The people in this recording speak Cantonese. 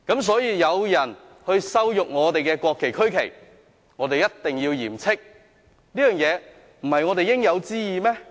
所以，當有人羞辱我們的國旗和區旗，我們一定要嚴斥，這不是我們應有之義嗎？